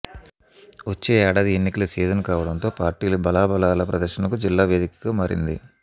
వచ్చే ఏడాది ఎన్నికల సీజన్ కావడంతో పార్టీలు బలాబలాల ప్రదర్శనకు జిల్లా వేదికగా మారింది